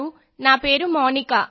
నేను పన్నెండవ తరగతి విద్యార్థిని